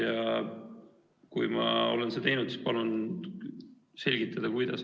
Ja kui ma olen seda teinud, siis palun selgitada, kuidas.